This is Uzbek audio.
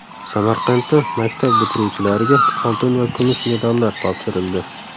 Samarqandda maktab bitiruvchilariga oltin va kumush medallar topshirildi .